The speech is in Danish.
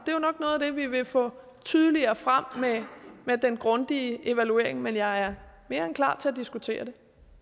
og af det vi vil få tydeligere frem med den grundige evaluering men jeg er mere end klar til at diskutere